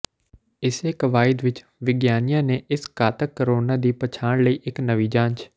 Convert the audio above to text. ਇਸੇ ਕਵਾਇਦ ਵਿਚ ਵਿਗਿਆਨੀਆਂ ਨੇ ਇਸ ਘਾਤਕ ਕੋਰੋਨਾ ਦੀ ਪਛਾਣ ਲਈ ਇਕ ਨਵੀਂ ਜਾਂਚ